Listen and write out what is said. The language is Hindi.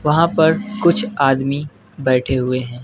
वहां पर कुछ आदमी बैठे हुए हैं।